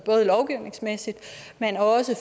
lovgivningsmæssigt men også